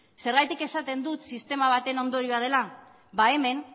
zergatik esaten dut sistema baten ondorioa dela ba hemen